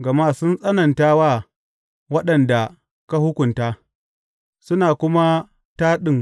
Gama sun tsananta wa waɗanda ka hukunta suna kuma taɗin